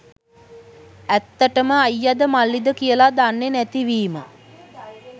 ඇත්තටම අයියද මල්ලිද කියල දන්නෙ නැති වීම